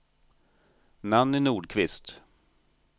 Nanny Nordqvist